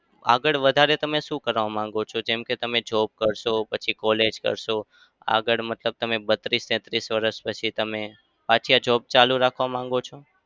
આગળ વધારે તમે શું કરવા માગો છો? જેમ કે તમે job કરશો પછી college કરશો. આગળ મતલબ તમે બત્રીસ-તેત્રીસ વરસ પછી તમે પાછી આ job ચાલુ રાખવા માંગો છો?